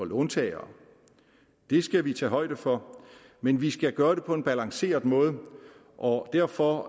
låntagere det skal vi tage højde for men vi skal gøre det på en balanceret måde og derfor